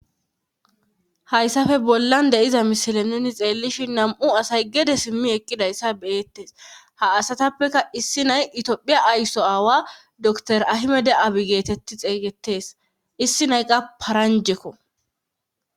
hyssafe bollan deiza mishile nuni xeellishi nam7u asay gede simmi eqqidayssa beyettes ha asatappeka issi nay itoophiya aysso aawa dr ahimede aabi geetetti xeeygetes issi nayqa paranjekko